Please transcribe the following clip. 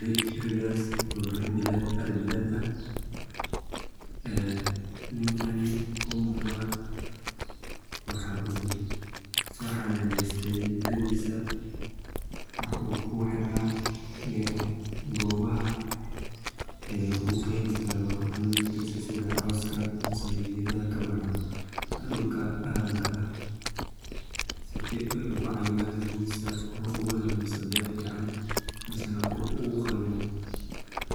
ri, ridas oo ah ri bilad ari bilad ah, en ninkaani ku muqda waxaa uu soo xananeyste ridisa waxa uu kuxiraa gobaha uu kaheli karo cuneoyinkisa sida cowska misene gedaha kaboxo dhulka aranka ah sifoy kucayilan xoolahisa oo ugu helo miseni dhaq fican mise uu qalmo